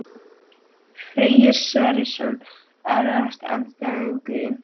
Freyr Sverrisson Erfiðasti andstæðingur?